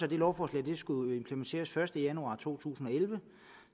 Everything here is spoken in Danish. det lovforslag skulle implementeres den første januar to tusind og elleve